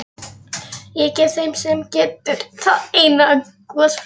Ég gef þeim sem getur það eina gosflösku.